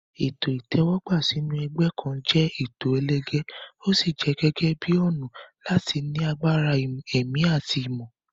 Ètò ìtẹ́wọ́gbà sínú ẹgbẹ́ kan jẹ́ ètò ẹlẹgẹ́, ó sì jẹ gẹ́gẹ́ bíi ọ̀nà láti ní agbára ẹ̀mí àti ìmọ̀.